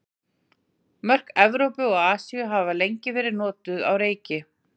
Mörk Evrópu og Asíu hafa lengi verið nokkuð á reiki.